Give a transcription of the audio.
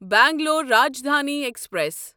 Bangalore Rajdhani express